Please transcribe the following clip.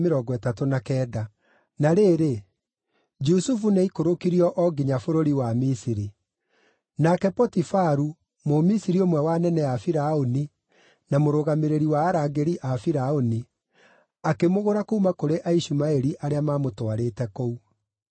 Na rĩrĩ, Jusufu nĩaikũrũkirio o nginya bũrũri wa Misiri. Nake Potifaru, Mũmisiri ũmwe wa anene a Firaũni, na mũrũgamĩrĩri wa arangĩri a Firaũni, akĩmũgũra kuuma kũrĩ Aishumaeli arĩa maamũtwarĩte kũu.